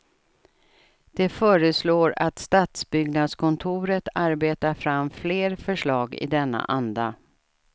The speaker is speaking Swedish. De föreslår att stadsbyggnadskontoret arbetar fram fler förslag i denna anda.